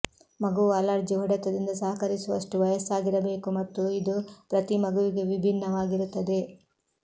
ಮಗುವು ಅಲರ್ಜಿ ಹೊಡೆತದಿಂದ ಸಹಕರಿಸುವಷ್ಟು ವಯಸ್ಸಾಗಿರಬೇಕು ಮತ್ತು ಇದು ಪ್ರತಿ ಮಗುವಿಗೆ ವಿಭಿನ್ನವಾಗಿರುತ್ತದೆ